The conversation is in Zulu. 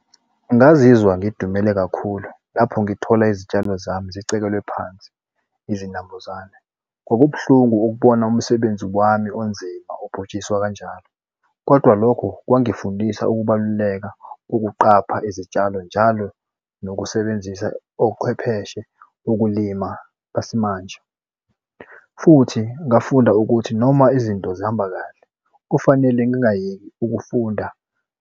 Ngingazizwa ngidumele kakhulu lapho ngithola izitshalo zami sicekelwe phansi izinambuzane. Kwakubuhlungu ukubona umsebenzi wami onzima ubhuntshiswa kanjalo, kodwa lokho kwangifundisa ukubaluleka ukuqapha izitshalo njalo nokusebenzisa ochwepheshe, ukulima besimanje, futhi ngafunda ukuthi noma izinto zihamba kahle kufanele ngingayeki ukufunda.